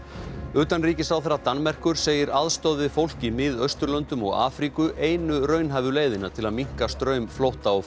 utanríkisráðherra Danmerkur segir aðstoð við fólk í Miðausturlöndum og Afríku einu raunhæfu leiðina til að minnka straum flótta og